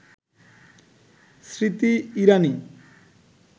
Smriti Irani